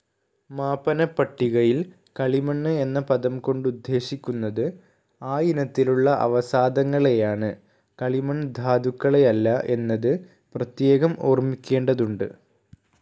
മാപനപ്പട്ടികയിൽ കളിമണ്ണ് എന്ന പദം കൊണ്ടുദ്ദേശിക്കുന്നത് ആയിനത്തിലുള്ള അവസാദങ്ങളെയാണ് കളിമൺ ധാതുക്കളെയല്ല, എന്നത് പ്രത്യേകം ഓർമിക്കേണ്ടതുണ്ട്.